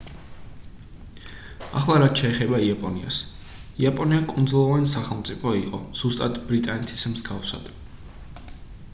ახლა რაც შეეხება იაპონიას იაპონია კუნძულოვანი სახელმწიფო იყო ზუსტად ბრიტანეთის მსგავსად